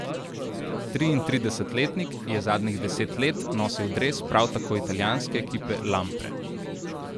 Triintridesetletnik je zadnjih deset let nosil dres prav tako italijanske ekipe Lampre.